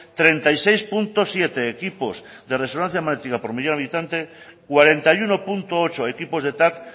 treinta y seis punto siete equipos de resonancia magnética por millón de habitante cuarenta y uno punto ocho equipos de tac